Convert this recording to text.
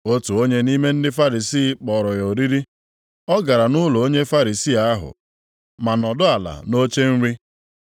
Otu onye nʼime ndị Farisii kpọrọ ya oriri. Ọ gara nʼụlọ onye Farisii ahụ, ma nọdụ ala nʼoche nri.